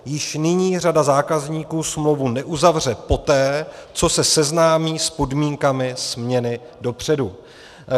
Již nyní řada zákazníků smlouvu neuzavře poté, co se seznámí s podmínkami směny dopředu."